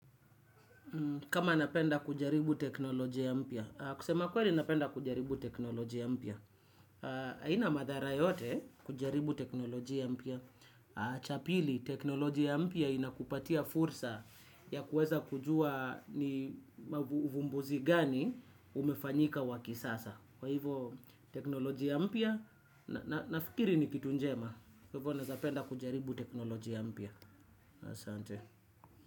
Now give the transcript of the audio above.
Kama napenda kujaribu teknolojia mpya. Kusema kweli napenda kujaribu teknolojia mpya. Aina madhara yote kujaribu teknoloji ya mpya. Cha pili, teknolojia mpya inakupatia fursa ya kuweza kujua ni uvumbuzi gani umefanyika wa kisasa. Kwa hivyo, teknolojia mpya, nafikiri ni kitu njema. Kwa hivyo, naezapenda kujaribu teknolojia mpya. Asante.